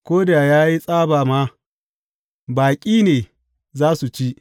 Ko da ya yi tsaba ma, baƙi ne za su ci.